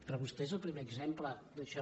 però vostè és el primer exemple d’això